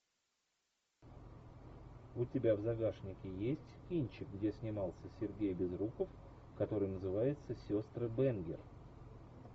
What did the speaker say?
у тебя в загашнике есть кинчик где снимался сергей безруков который называется сестры бэнгер